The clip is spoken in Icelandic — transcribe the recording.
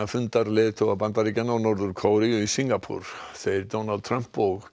fundar leiðtoga Bandaríkjanna og Norður Kóreu í Singapúr þeir Donald Trump og